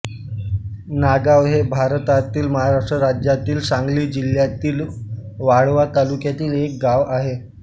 नागाव हे भारतातील महाराष्ट्र राज्यातील सांगली जिल्ह्यातील वाळवा तालुक्यातील एक गाव आहे